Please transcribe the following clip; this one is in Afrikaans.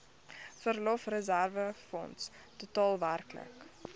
verlofreserwefonds totaal werklik